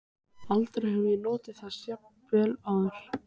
Aldrei hafði ég notið þess jafn vel áður.